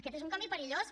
aquest és un camí perillós